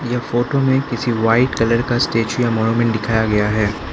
ये फोटो में किसी व्हाइट कलर का स्टेचू दिखाया गया है।